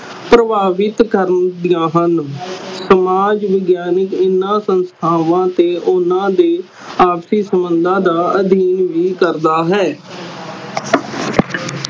ਪ੍ਰਭਾਵਿਤ ਕਰਦੀਆਂ ਹਨ ਸਮਾਜ ਵਿਗਿਆਨਿਕ ਹਨ ਸੰਸਥਾਵਾਂ ਤੇ ਓਹਨਾ ਦੇ ਆਪਸੀ ਸੰਬੰਧਾਂ ਦਾ ਅਧੀਨ ਵੀ ਕਰਦਾ ਹੈ